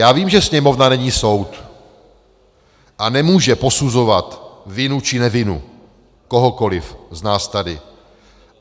Já vím, že Sněmovna není soud a nemůže posuzovat vinu či nevinu kohokoli z nás tady.